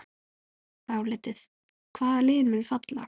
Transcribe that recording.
Álitið: Hvaða lið munu falla?